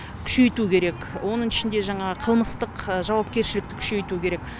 күшейту керек оның ішінде жаңағы қылмыстық жауапкершілікті күшейту керек